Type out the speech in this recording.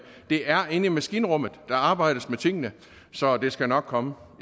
det er inde i maskinrummet der arbejdes med tingene så det skal nok komme